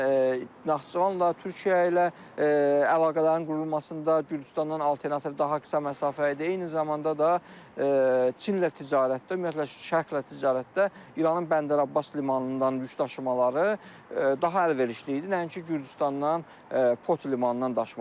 Həm Naxçıvanla, Türkiyə ilə əlaqələrin qurulmasında, Gürcüstandan alternativ daha qısa məsafə idi, eyni zamanda da Çinlə ticarətdə, ümumiyyətlə Şərqlə ticarətdə İranın Bəndər-Abbas limanından yükdaşımaları daha əlverişli idi, nəinki Gürcüstandan Poti limanından daşımalar.